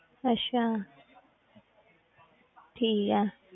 ਅੱਛਾ ਠੀਕ ਹੈ।